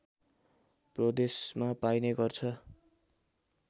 प्रदेशमा पाइने गर्छ